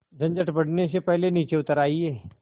झंझट बढ़ने से पहले नीचे उतर आइए